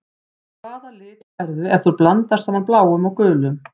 Hvaða lit færðu ef þú blandar saman bláum og gulum?